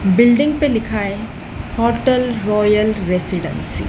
building पे लिखा है होटल रॉयल रेसीडेंसी --